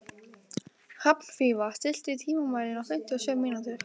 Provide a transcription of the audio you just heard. Hrafnfífa, stilltu tímamælinn á fimmtíu og sjö mínútur.